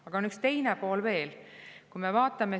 Aga on üks teine pool veel.